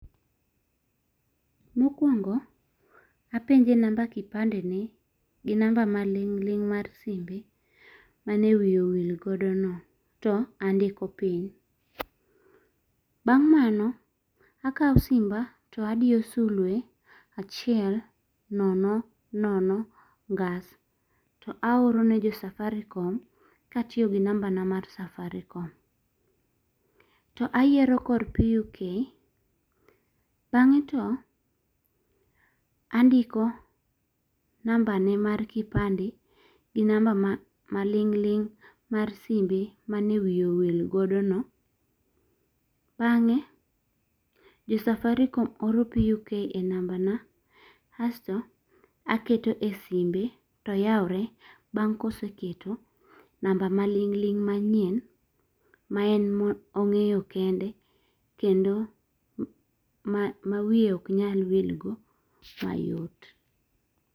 Mokwongo apenje nama kipande ne gi namba maling'ling' mar simbe mane wiye owil godo no to andiko piny. Bang mano akawo simba to adiyo sulwe achiel nono nono ngas. To aoro ne jo Safaricom ka atiyo gi namba na mar Safaricom. To ayiero kor PUK. Bang'e to andiko namba ne mar [kipande gi namba maling'ling' mar simbe mane wiye owil godono. Bang'e jo Safaricom oro PUK e namba na asto aketo e simbe to yawore bang' koseketo namba maling'ling' manyien ma en emong'eyo kende kendo ma wiye ok nyal wilgo mayot.